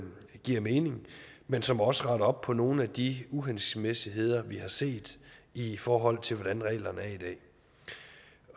giver mening men som også retter op på nogle af de uhensigtsmæssigheder vi har set i forhold til hvordan reglerne